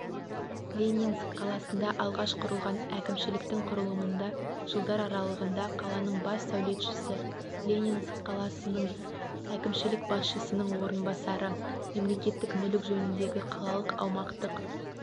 ленинск қаласында алғаш құрылған әкімшіліктің құрылымында жылдар аралығында қаланың бас сәулетшісі ленинск қаласының әкімшілік басшысының орынбасары мемлекеттік мүлік жөніндегі қалалық аумақтық